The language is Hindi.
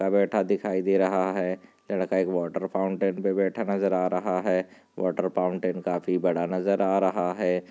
व बैठा दिखाई दे रहा है लड़का एक वाटर फाउंटेन पर बैठा नज़र आ रहा है वॉटर फाउंटेन काफी बड़ा नज़र आ रहा है।